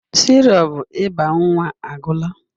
Sirop ịba nwa agwụla.